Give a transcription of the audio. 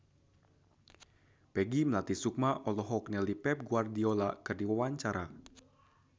Peggy Melati Sukma olohok ningali Pep Guardiola keur diwawancara